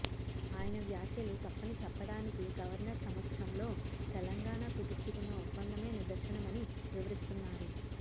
ఆయన వ్యాఖ్యలు తప్పని చెప్పడానికి గవర్నర్ సమక్షంలో తెలంగాణ కుదుర్చుకున్న ఒప్పందమే నిదర్శనమని వివరిస్తున్నారు